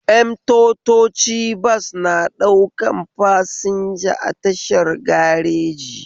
Mtotoci bas na ɗaukan fasinja a tashar gareji